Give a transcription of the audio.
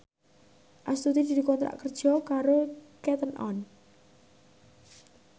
Astuti dikontrak kerja karo Cotton On